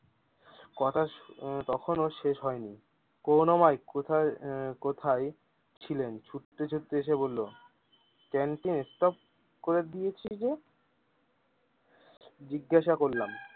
কথা তো তখন শেষ হয়নি করুনাময় কোথায় এ কোথায় ছিলেন ছুটতে ছুটতে এসে বললো ক্যান্টিন টা অফ করে দিয়েছে যে জিজ্ঞাসা করলাম।